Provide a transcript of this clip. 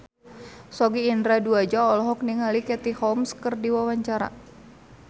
Sogi Indra Duaja olohok ningali Katie Holmes keur diwawancara